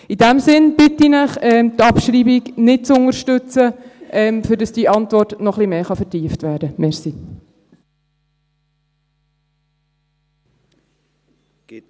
In diesem Sinn bitte ich Sie, die Abschreibung nicht zu unterstützen, damit die Antwort noch ein bisschen mehr vertieft werden kann.